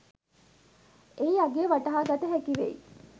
එහි අගය වටහාගත හැකිවෙයි.